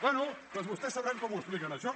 bé doncs vostès sabran com ho expliquen això